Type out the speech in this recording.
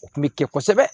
O kun bɛ kɛ kosɛbɛ